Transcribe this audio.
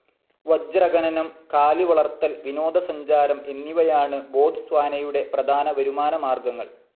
വജ്രഖനനം, കാലിവളർത്തൽ, വിനോദസഞ്ചാരം എന്നിവയാണ് ബോട്ട്സ്വാനയുടെ പ്രധാന വരുമാനമാർഗങ്ങൾ.